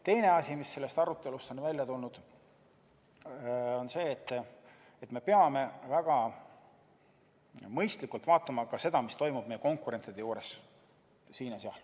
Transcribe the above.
Teine asi, mis sellest arutelust on välja tulnud, on see, et me peame väga mõistlikult vaatama ka seda, mis toimub meie konkurentide juures.